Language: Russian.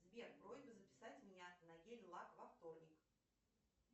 сбер просьба записать меня на гель лак во вторник